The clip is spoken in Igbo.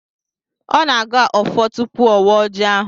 Ọ na-agọ ọfọ tupu ọ waa ọjị ahụ.